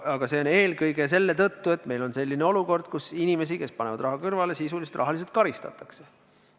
Aga see on eelkõige selle tõttu, et meil on olukord, kus inimesi, kes panevad raha kõrvale, sisuliselt rahaliselt karistatakse.